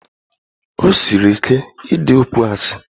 O siri ike idi okwu asị.